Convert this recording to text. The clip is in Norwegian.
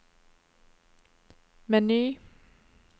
meny